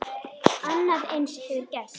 Annað eins hefur gerst.